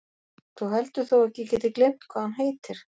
Þú heldur þó ekki að ég geti gleymt hvað hann heitir?